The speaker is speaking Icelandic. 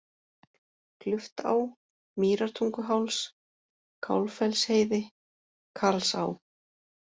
Kluftá, Mýrartunguháls, Kálffellsheiði, Karlsá